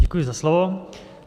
Děkuji za slovo.